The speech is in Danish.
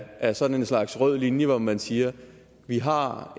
af sådan en slags rød linje hvor man siger vi har